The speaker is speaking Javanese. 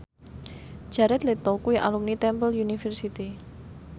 Jared Leto kuwi alumni Temple University